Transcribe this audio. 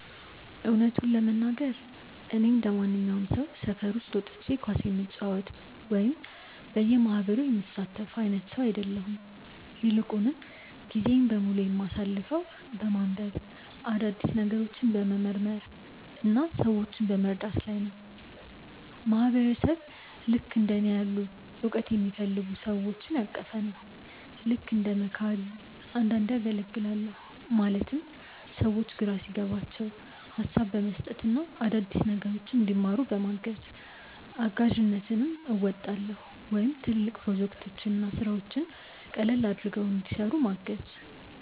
እውነቱን ለመናገር፣ እኔ እንደማንኛውም ሰው ሰፈር ውስጥ ወጥቼ ኳስ የምጫወት ወይም በየማህበሩ የምሳተፍ አይነት ሰው አይደለሁም። ይልቁንም ጊዜዬን በሙሉ የማሳልፈው በማንበብ፣ አዳዲስ ነገሮችን በመመርመር እና ሰዎችን በመርዳት ላይ ነው። ማህበረሰብ ልክእንደ እኔ ያሉ እውቀትን የሚፈልጉ ሰዎችን ያቀፈ ነው። ልክ እንደ መካሪ አንዳንዴ አገልግላለሁ ማለትም ሰዎች ግራ ሲገባቸው ሀሳብ በመስጠት እና አዳዲስ ነገሮችን እንዲማሩ በማገዝ። እጋዥነትም አወጣለሁ ወይም ትልልቅ ፕሮጀክቶችን እና ስራዎችን ቀለል አድርገው እንዲሰሩ ምገዝ።